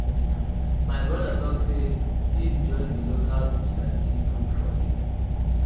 my broda tok sey im join di local vigilantee group for here.